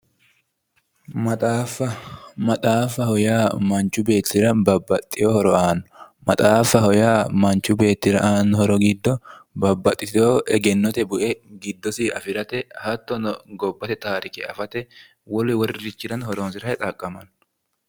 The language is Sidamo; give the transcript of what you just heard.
Maxaafa, maxaafaho yaa manchu beettira babbaxxewo horo aanno maxaafaho yaa manchu beettira aanno horo giddo babbaxxeewoti horote bue giddosi afi'rate hattono gobbate taarike afate wolu wolirichirano horonsi'rate xaqqamanno